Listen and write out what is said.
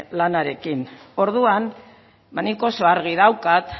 lanarekin orduan ba nik oso argi daukat